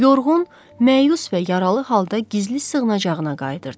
Yorğun, məyus və yaralı halda gizli sığınacağına qayıdırdı.